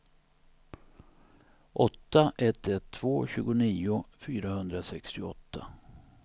åtta ett ett två tjugonio fyrahundrasextioåtta